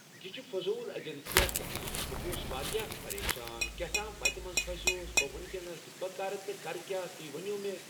یہِ چھِ فٔضوٗل ایجَنسِیا کیٛاہ تھام بہٕ گوٚوُس واریاہ پریشان کیٛاہ تھام وَتہِ منٛز پھَسیووُس بہٕ وٕنکٮ۪س بہٕ کَرٕ تہٕ کَرٕ کیٛاہ تُہۍ ؤنِو مےٚ